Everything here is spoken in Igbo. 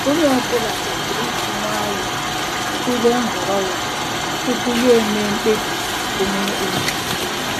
Onye ọ bụla kwesịrị iji nwayọọ tụlee nhọrọ ya tupu ya emee mkpebi onwe onye.